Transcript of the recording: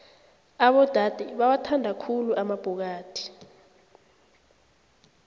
abodade bawathanda khulu amabhokadi